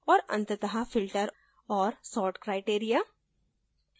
और अंतत: filter और sort criteria